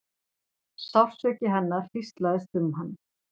Sársauki hennar hríslaðist um hann.